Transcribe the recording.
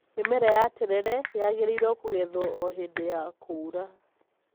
Mĩmera ya terere yagĩrĩirwo kũgethwo o hĩndĩ ya kũũra.